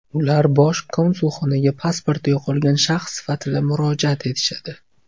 Ular Bosh konsulxonaga pasporti yo‘qolgan shaxs sifatida murojaat etishadi.